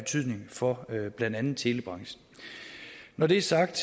for blandt andet telebranchen når det er sagt